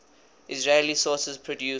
israeli sources produce